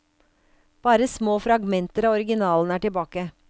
Bare små fragmenter av originalen er tilbake.